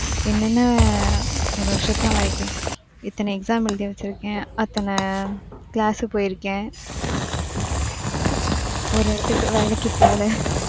என்னென்ன ஒரு வருஷத்துல ஆயிருக்கு. இத்தன exam எழுதி வச்சுருக்கேன், அத்தன class போயிருக்கேன். ஒரு இடத்துக்கு வேலைக்கு போணே .